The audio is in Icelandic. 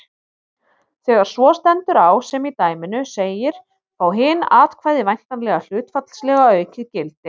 Þegar svo stendur á sem í dæminu segir fá hin atkvæði væntanlega hlutfallslega aukið gildi.